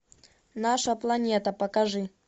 наша планета покажи